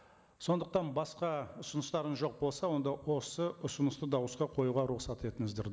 сондықтан басқа ұсыныстарыңыз жоқ болса онда осы ұсынысты дауысқа қоюға рұқсат етіңіздер